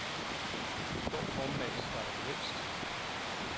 I går formiddags var der gevinst.